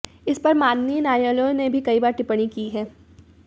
इसपर माननीय न्यायालयों ने भी कई बार टिप्पणी की है